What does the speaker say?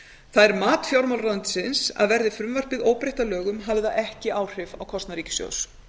það er mat fjármálaráðuneytisins að verði frumvarpið óbreytt að lögum hafi það ekki áhrif á kostnað ríkissjóðs